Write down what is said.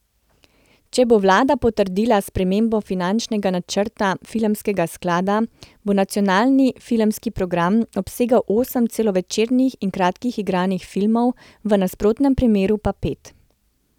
Če bo vlada potrdila spremembo finančnega načrta Filmskega sklada, bo nacionalni filmski program obsegal osem celovečernih in kratkih igranih filmov, v nasprotnem primeru pa pet.